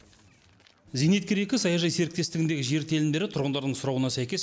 зейнеткер екі саяжай серіктестігіндегі жер телімдері тұрғындардың сұрауына сәйкес